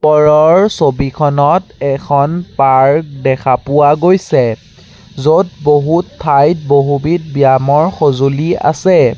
ওপৰৰ ছবিখনত এখন পাৰ্ক দেখা পোৱা গৈছে য'ত বহুত ঠাইত বহুবিধ ব্যামৰ সঁজুলি আছে।